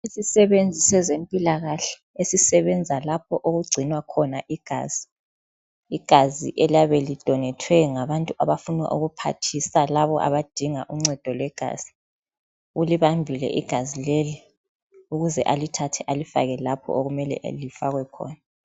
Isisebenzi sezempilakahle esisebenza lapho okugcinwa khona igazi. Igazi eliyabe lidonethwe ngabantu abafuna ukuphathisa labo abadinga uncedo lwegazi. Ulibambile igazi leli ukuze alithathe alifake lapho okumele lifakwe khona.